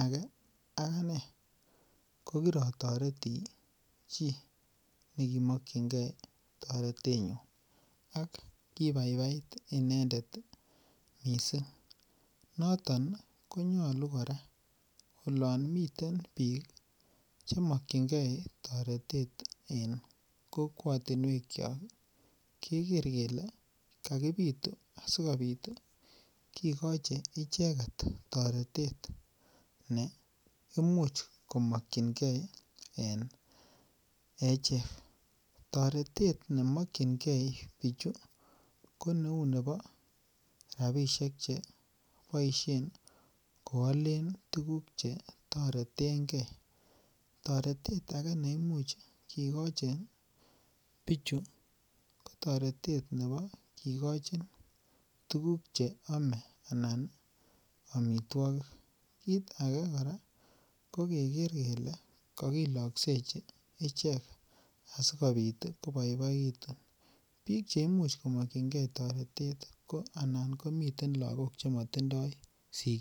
age akane kokiratoreti chii nekimokchingei taretenyu ak kibaibait inendet mising' noton konyolu kora olon miten biik chemokchingei toretet eng' kokwotinwek cho keker kele kakipitu asikobit kekoche icheget toretet ne imuch komokchingei en echek toretet nemokchingei bichu ko neu nebo rapishek cheboishe koolen tuguk chetoretengei toretet ake neimuch kikochin pichu ko toretet nebo kikochin tukuk cheome anan omitwokik kiit age kora kokeker kele kakiloksechi ichek asikobit koboiboitu biik chemuch komokchingei toretet anan komiten lakok chematindoi sikik